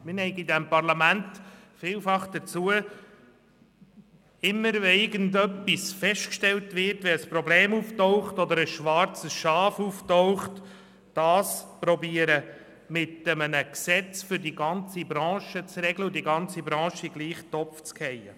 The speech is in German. Wenn ein Problem auftritt oder ein schwarzes Schaf auftaucht, neigen wir in diesem Parlament vielfach dazu, diesem Problem mit einem Gesetz für die gesamte Branche zu begegnen und die ganze Branche in denselben Topf zu werfen.